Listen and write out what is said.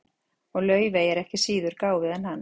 og laufey er ekki síður gáfuð en hann